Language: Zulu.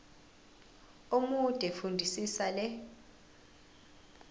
omude fundisisa le